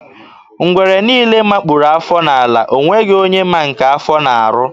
Ngwere niile makpu afọ n'ala, ọ nweghị onye ma nke afọ na-arụ.